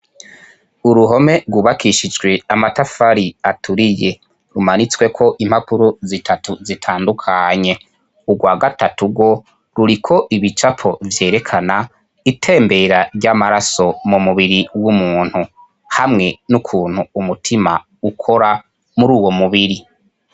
uruhome rwubakishijwe amatafari aturiye rumanitswe ko impapuro zitatu zitandukanye urwa gatatu go ruriko ibicapo vyerekana itembera ry'amaraso mu mubiri w'umuntu hamwe n'ukuntu umutima ukora muri uwo mubiri.